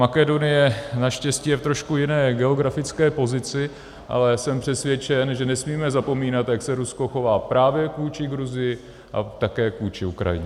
Makedonie naštěstí je v trošku jiné geografické pozici, ale jsem přesvědčen, že nesmíme zapomínat, jak se Rusko chová právě vůči Gruzii a také vůči Ukrajině.